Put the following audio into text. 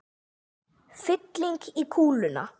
Fylling í kúluna.